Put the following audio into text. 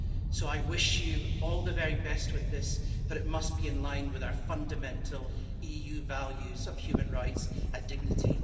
So I wish you all the very best with this, but it must be in line with our fundamental EU values of human rights and dignity.